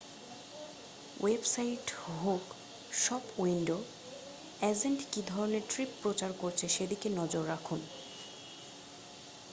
website হোক shop window agent কী ধরনের ট্রিপ প্রচার করছে সেদিকে নজর রাখুন